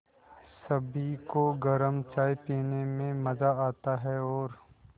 सभी को गरम चाय पीने में मज़ा आता है और